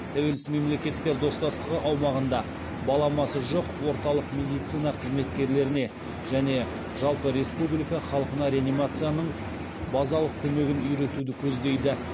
тәуелсіз мемлекеттер достастығы аумағында баламасы жоқ орталық медицина қызметкерлеріне және жалпы республика халқына реанимацияның базалық көмегін үйретуді көздейді